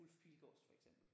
Ulf Pilgaards for eksempel